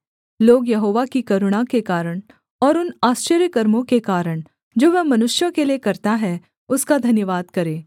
लोग यहोवा की करुणा के कारण और उन आश्चर्यकर्मों के कारण जो वह मनुष्यों के लिये करता है उसका धन्यवाद करें